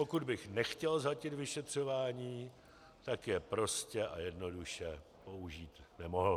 Pokud by nechtěl zhatit vyšetřování, tak je prostě a jednoduše použít nemohl.